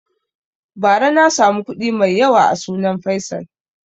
Ba ra na samu kuɗi mai yawa a sunan faisal